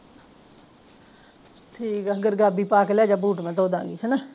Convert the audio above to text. ਠੀਕ ਹਾ ਗੁਰਗ਼ਾਬੀ ਪਾਹ ਕੇ ਲੈਜਾ ਬੂਟ ਮੈਂ ਧੋ ਦਾਗ਼ੀ ਹੇਨਾ